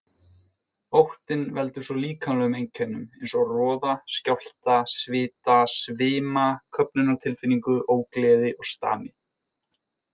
Óttinn veldur svo líkamlegum einkennum eins og roða, skjálfta, svita, svima, köfnunartilfinningu, ógleði og stami.